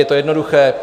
Je to jednoduché.